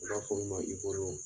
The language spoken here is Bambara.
U b'a fɔ min ma